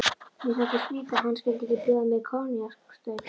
Mér þótti skrýtið, að hann skyldi ekki bjóða mér koníaksstaup.